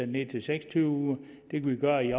ned til seks og tyve uger det kan vi gøre i